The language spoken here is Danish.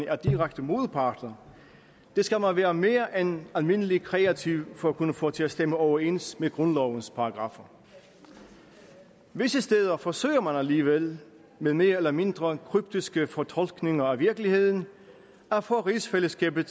er direkte modparter skal man være mere end almindelig kreativ for at kunne få til at stemme overens med grundlovens paragraffer visse steder forsøger man alligevel ved mere eller mindre kryptiske fortolkninger af virkeligheden at få rigsfællesskabet